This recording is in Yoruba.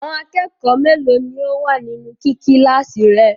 Àwọn akẹ́kọ̀ọ́ mélòó ni ó wà nínú kí kíláàsì rẹ?